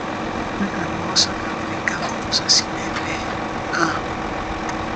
Aga m ọsọ ka m wee gafee ụzọ si n’ebe a pụọ.